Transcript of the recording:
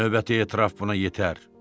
Növbəti etiraf buna yetər.